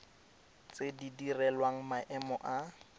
tse di direlwang maemo a